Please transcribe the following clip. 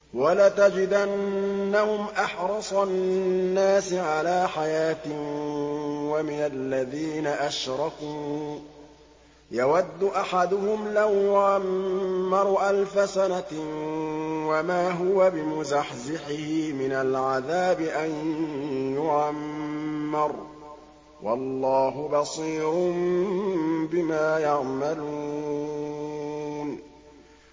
وَلَتَجِدَنَّهُمْ أَحْرَصَ النَّاسِ عَلَىٰ حَيَاةٍ وَمِنَ الَّذِينَ أَشْرَكُوا ۚ يَوَدُّ أَحَدُهُمْ لَوْ يُعَمَّرُ أَلْفَ سَنَةٍ وَمَا هُوَ بِمُزَحْزِحِهِ مِنَ الْعَذَابِ أَن يُعَمَّرَ ۗ وَاللَّهُ بَصِيرٌ بِمَا يَعْمَلُونَ